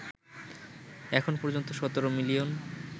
এখন পর্যন্ত ১৭ মিলিয়ন